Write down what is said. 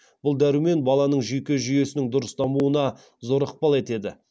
бұл дәрумен баланың жүйке жүйесінің дұрыс дамуына зор ықпал етеді